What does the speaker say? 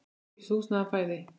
Ókeypis húsnæði og fæði.